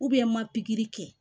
n ma pikiri kɛ